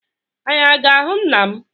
Anyị a ga-ahụ nna m?